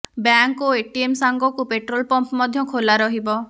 bank ଓ ATM ସାଙ୍ଗକୁ petrol pump ମଧ୍ୟ ଖୋଲା ରହିବ